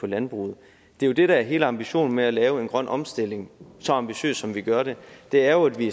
landbruget det det der er hele ambitionen med at lave en grøn omstilling så ambitiøst som vi gør det er jo at vi